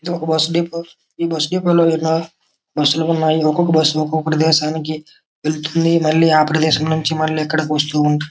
ఇది ఒక bus depot . ఈ బస్సు డిపో లో బస్సు లో తిరుగాచు అక్కడ నొంది ఇక్కడికి ఇక్కడ నొంది అక్కడికి.